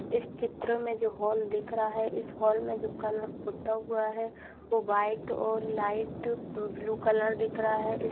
इस चित्र में जो हॉल दिख रहा है इस हॉल में जो कलर पुता हुआ है वो वाइट और लाइट ब्लू कलर दिख रहा है इस --